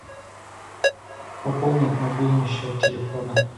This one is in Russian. пополнить мобильный счет телефона